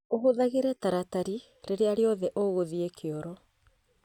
ũhũthagĩre taratari rĩrĩa rĩothe ũgũthiĩ kioro